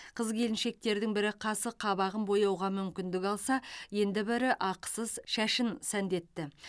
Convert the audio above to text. қыз келіншектердің бірі қасы қабағын бояуға мүмкіндік алса енді бірі ақысыз шашын сәндетті